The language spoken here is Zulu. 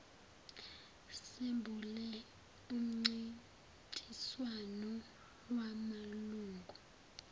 sembule umcintiswano wamalungu